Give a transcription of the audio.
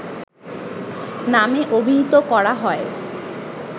নামে অভিহিত করা হয়